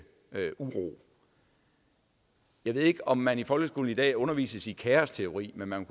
uro jeg ved ikke om man i folkeskolen i dag undervises i kaosteori men man